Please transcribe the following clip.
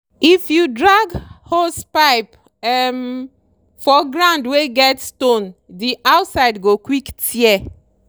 if you drag hosepipe um for ground wey get stone the outside go quick tear.